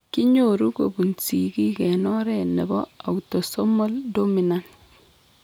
Kinyoru kobun sigiik en oret nebo autosomal dominant